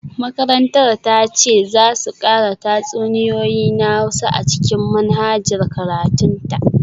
Makarantar ta ce za su kara tatsuniyoyi na Hausa a cikin manhajar karatun ta